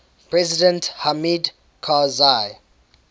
president hamid karzai